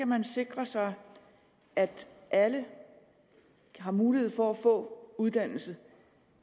man sikre sig at alle har mulighed for at få uddannelse